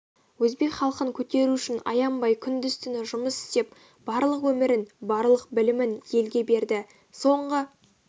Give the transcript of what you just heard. өзбек халқын көтеру үшін аянбай күндіз-түні жұмыс істеп барлық өмірін барлық білімін елге берді соңғы